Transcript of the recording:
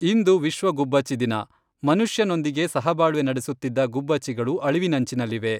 ಇಂದು ವಿಶ್ವ ಗುಬ್ಬಚ್ಚಿ ದಿನ, ಮನುಷ್ಯನೊಂದಿಗೆ ಸಹಬಾಳ್ವೆ ನಡೆಸುತ್ತಿದ್ದ ಗುಬ್ಬಚ್ಚಿಗಳು ಅಳಿವಿನಂಚಿನಲ್ಲಿವೆ.